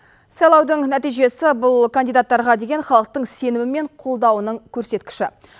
сайлаудың нәтижесі бұл кандидаттарға деген халықтың сенімі мен қолдауының көрсеткіші